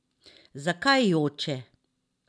Zakaj joče?